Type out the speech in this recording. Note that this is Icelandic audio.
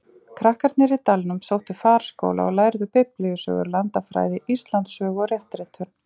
Krakkarnir í dalnum sóttu farskóla og lærðu Biblíusögur, landafræði, Íslandssögu og réttritun.